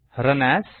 run as